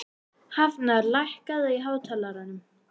Hafnar, lækkaðu í hátalaranum.